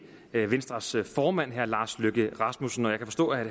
venstres formand herre lars løkke rasmussen jeg kan forstå at